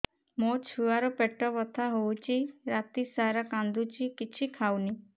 ମୋ ଛୁଆ ର ପେଟ ବଥା ହଉଚି ରାତିସାରା କାନ୍ଦୁଚି କିଛି ଖାଉନି